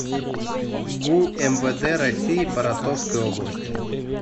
гу мвд россии по ростовской области